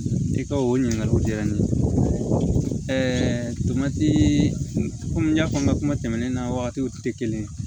I ka o ɲininkaliw diyara n ye tomatii komi n y'a fɔ n ka kuma tɛmɛnen na wagatiw tɛ kelen